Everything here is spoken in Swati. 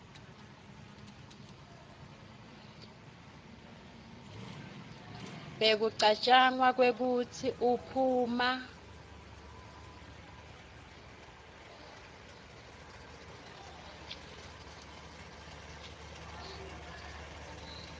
bekucatjwanga kwekutsi uphuma